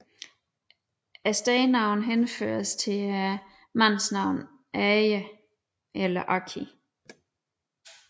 Stednavnet henføres til mandsnavn Age eller Aki